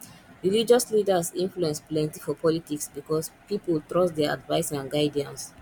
religious leaders influence plenti for politics because pipol trust dia advice and guidance